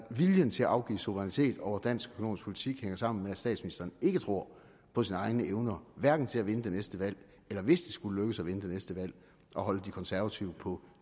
viljen til at afgive suverænitet over dansk økonomisk politik sammen med at statsministeren ikke tror på sine egne evner hverken til at vinde det næste valg eller hvis det skulle lykkes at vinde det næste valg at holde de konservative på